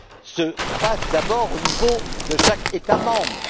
se passent d'abord au niveau de chaque État membre.